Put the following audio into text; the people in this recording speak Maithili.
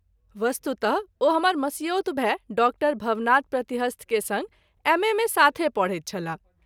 वस्तुतः ओ हमर मसियौत भाई डॉ० भवनाथ प्रतिहस्त के संग एम. ए. मे साथे पढैत छलाह।